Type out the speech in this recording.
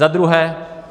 Za druhé.